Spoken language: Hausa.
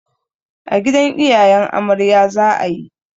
A gidan iyayen amarya za a yi.